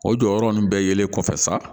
O jɔyɔrɔ ninnu bɛɛ yelen kɔfɛ sa